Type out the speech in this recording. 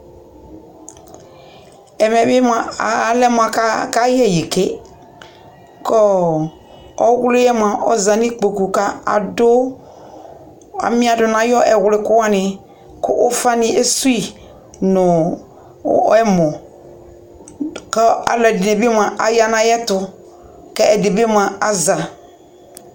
ɛvɛ mɛ mʋa alɛ mʋ aka yɛ ɛyi kɛ kʋɔ ɔwliɛ mʋa ɔzanʋ ikpɔkʋ ka adʋ, amia dʋnʋ ayi ɛwli kʋ wani kʋ ʋƒa ni ɛsʋii nʋ ɛmɔ kʋ alʋɛdini bi mʋa aya nʋ ayɛtʋ kɛ ɛdi bi mʋa aza